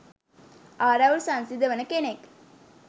ආරවුල් සංසිඳවන කෙනෙක්